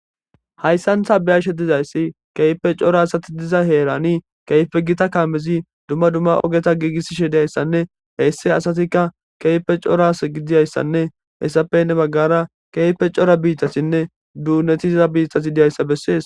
hayssan ta beyashe dizayssi keype cora asati diza heerani keyfe gita kaamezi dumma dumma ogeta giigiss shediayssanne heyssi asatikka keyfe coras gidiyayssanne hessapenne baggara keyfe cora biittasinne duunetiza biittasi diyayssa bessees